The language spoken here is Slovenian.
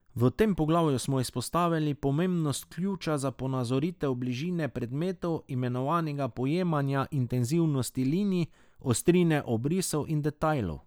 V tem poglavju smo izpostavili pomembnost ključa za ponazoritev bližine predmetov, imenovanega pojemanje intenzivnosti linij, ostrine obrisov in detajlov.